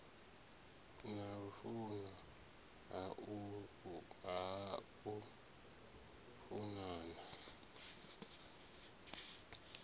na lufuno ha u funana